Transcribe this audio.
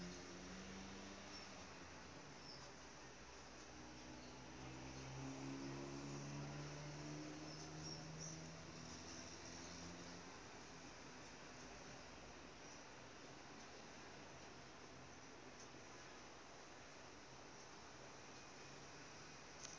dalk dikwels besoek